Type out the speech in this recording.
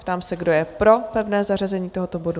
Ptám se, kdo je pro pevné zařazení tohoto bodu?